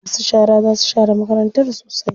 Masu shara za su share makarantar sosai.